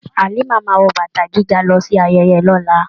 Halima máa wọ bàtà gíga lọ sí ayẹyẹ lọla.